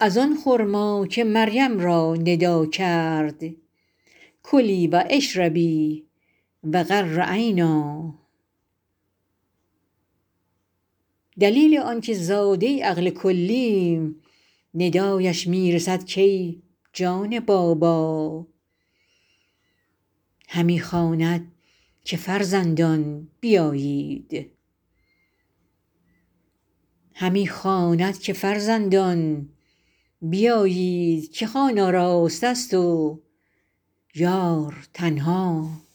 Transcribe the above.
از آن خرما که مریم را ندا کرد کلی و اشربی و قری عینا دلیل آنک زاده عقل کلیم ندایش می رسد کای جان بابا همی خواند که فرزندان بیایید که خوان آراسته ست و یار تنها